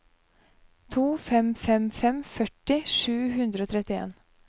to fem fem fem førti sju hundre og trettien